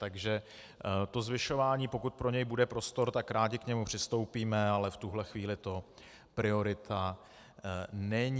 Takže to zvyšování, pokud pro něj bude prostor, tak rádi k němu přistoupíme, ale v tuhle chvíli to priorita není.